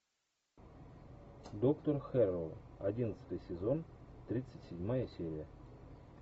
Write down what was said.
доктор хэрроу одиннадцатый сезон тридцать седьмая серия